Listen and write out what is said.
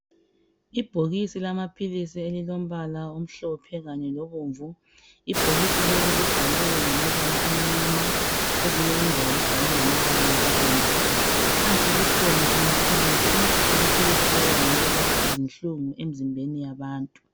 Ibhokisi lama philizi elilombala omhlophe kanye lobomvu, ibhokisi leli libhalwe ngamabala amnyama kwezinye indawo libhalwe ngamabala abomvu phansi kukhona amaphilizi, amaphilizi lawa ngawokulapha izinhlungu emzimbeni yabantu.